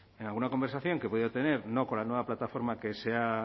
en alguna conversación que he podido tener no con la nueva plataforma que se ha